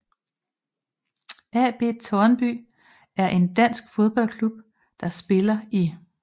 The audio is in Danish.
AB Tårnby er en dansk fodboldklub der spiller i